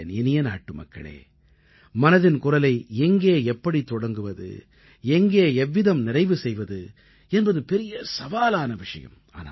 என் இனிய நாட்டுமக்களே மனதின் குரலை எங்கே எப்படித் தொடங்குவது எங்கே எவ்விதம் நிறைவு செய்வது என்பது பெரிய சவாலான விஷயம்